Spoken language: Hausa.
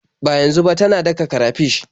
Ba yanzu ba, tana daka karafish.